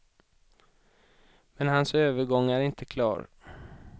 Men hans övergång är inte klar.